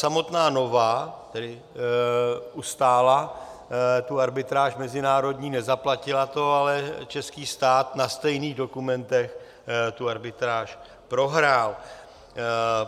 Samotná Nova tedy ustála tu arbitráž mezinárodní, nezaplatila to, ale český stát na stejných dokumentech tu arbitráž prohrál.